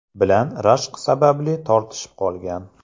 bilan rashk sababli tortishib qolgan.